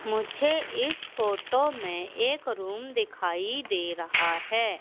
मुझे इस फोटो में एक रूम दिखाई दे रहा है।